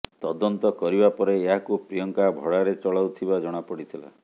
ତଦନ୍ତ କରିବା ପରେ ଏହାକୁ ପ୍ରିୟଙ୍କା ଭଡ଼ାରେ ଚଲାଉଥିବା ଜଣାପଡ଼ିଥିଲା